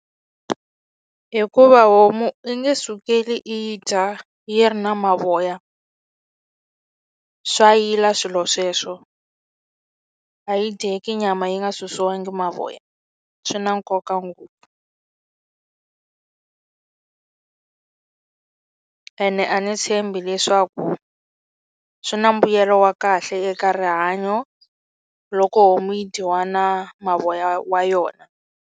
Hikuva homu i nge sukeli i yi dya yi ri na mavoya swa yila swilo sweswo a yi dyeki nyama yi nga susiwangi mavoya swi na nkoka ngopfu ene a ni tshembi leswaku swi na mbuyelo wa kahle eka rihanyo loko homu yi dyiwa na mavoya wa yona.